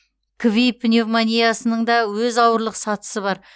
кви пневмониясының да өз ауырлық сатысы бар